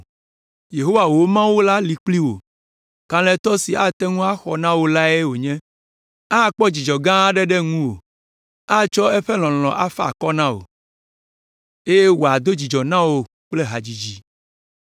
Yehowa wò Mawu la li kpli wò, kalẽtɔ si ate ŋu axɔ na wò lae wònye. Akpɔ dzidzɔ gã aɖe ɖe ŋuwò, atsɔ eƒe lɔlɔ̃ afa akɔ na wò, eye wòado dzidzɔ na wò kple hadzidzi.”